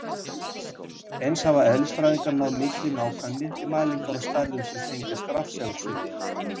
Eins hafa eðlisfræðingar náð mikilli nákvæmni við mælingar á stærðum sem tengjast rafsegulsviði.